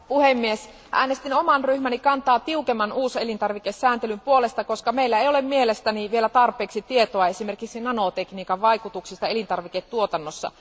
Arvoisa puhemies, äänestin oman ryhmäni kantaa tiukemman uuselintarvikesääntelyn puolesta, koska meillä ei ole mielestäni vielä tarpeeksi tietoa esimerkiksi nanotekniikan vaikutuksista elintarviketuotannossa.